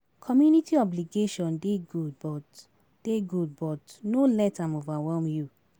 Community obligation dey good but dey good but no let am overwhelm you